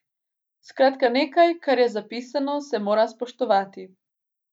Skratka, nekaj, kar je zapisano, se mora spoštovati.